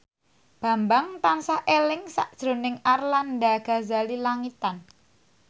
Bambang tansah eling sakjroning Arlanda Ghazali Langitan